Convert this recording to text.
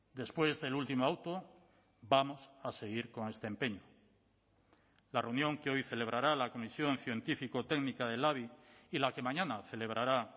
después del último auto vamos a seguir con este empeño la reunión que hoy celebrará la comisión científico técnica del labi y la que mañana celebrará